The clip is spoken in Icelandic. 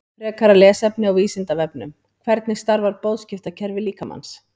Frekara lesefni á Vísindavefnum: Hvernig starfar boðskiptakerfi líkamans?